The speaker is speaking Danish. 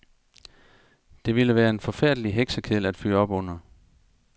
Det ville være en forfærdelig heksekedel at fyre op under.